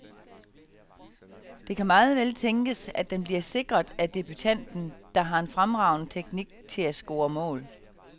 Det kan meget vel tænkes, at den bliver sikret af debutanten, der har en fremragende teknik til at score mål.